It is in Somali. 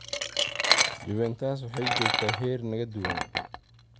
"...Juventus waxay joogtaa heer naga duwan.